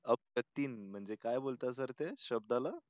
अप्रतिम म्हणजे काय बोलतात सर ते शब्दाला?